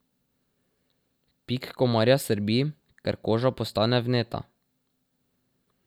Pik komarja srbi, ker koža postane vneta.